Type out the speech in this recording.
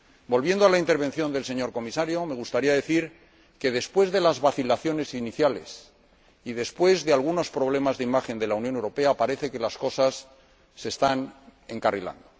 Volviendo a la intervención del señor Comisario, me gustaría decir que, después de las vacilaciones iniciales y después de algunos problemas de imagen de la Unión Europea, parece que las cosas se están encarrilando.